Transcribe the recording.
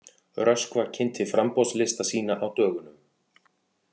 Röskva kynnti framboðslista sína á dögunum